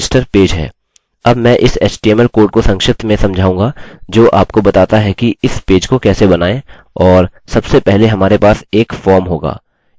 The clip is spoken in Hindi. अब मैं इस html कोड को संक्षिप्त में समझाऊँगा जो आपको बताता है कि इस पेज को कैसे बनाएँ और सबसे पहले हमारे पास एक फॉर्म होगा